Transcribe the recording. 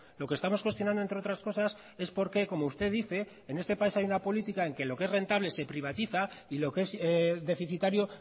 lo que estamos cuestionando entre otras cosas es por qué como usted dice en este país hay una política en que lo que es rentable se privatiza y lo que es deficitario